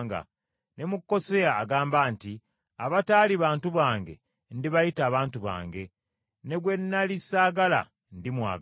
Ne mu Koseya agamba nti, “Abataali bantu bange ndibayita abantu bange, Ne gwe nnali ssaagala, ndimwagala.”